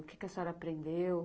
O que a senhora aprendeu?